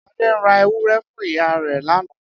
Ade ra ewúrẹ́ fun iya re lana.